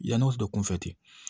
Yan'o bɛ kunfɛ ten